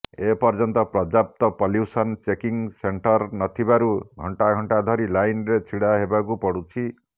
ଏପର୍ଯ୍ୟନ୍ତ ପର୍ଯ୍ୟାପ୍ତ pollution checking centre ନଥିବାରୁ ଘଂଟା ଘଂଟା ଧରି ଲାଇନରେ ଛିଡା ହେବାକୁ ପଡୁଛି